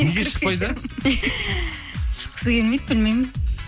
неге шықпайды шыққысы келмейді білмеймін